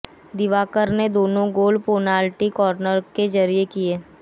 दिवाकर ने दोनों गोल पेनाल्टी कॉर्नर के जरिए किए